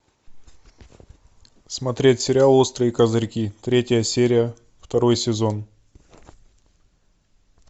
смотреть сериал острые козырьки третья серия второй сезон